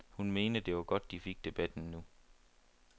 Hun mente, det var godt de fik debatten nu.